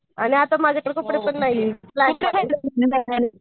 आणि आता माझ्याकडे कपडे पण नाहीयेत